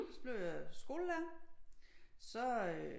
Så blev jeg skolelærer så øh